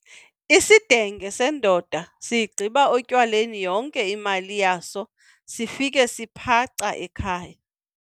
Isidenge sendoda siyigqiba etywaleni yonke imali yaso sifike siphaca ekhaya.